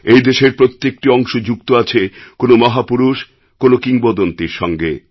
এই দেশের প্রত্যেকটি অংশ যুক্ত আছে কোনো মহাপুরুষ কোনো কিংবদন্তীর সঙ্গে